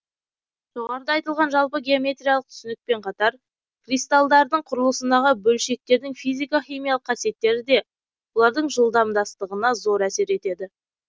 жоғарыда айтылған жалпы геометриялық түсінікпен қатар кристалдардың құрылысындағы бөлшектердің физика химиялық қасиеттері де олардың жымдастығына зор әсер етеді